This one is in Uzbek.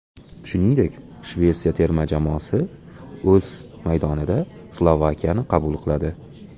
Shuningdek, Shvetsiya terma jamoasi o‘z maydonida Slovakiyani qabul qiladi.